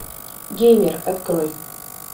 геймер открой